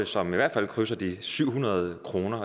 som i hvert fald krydser de syv hundrede kroner